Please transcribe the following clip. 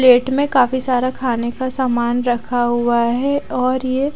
plate में काफी सारा खाने का सामान रखा हुआ है और यह--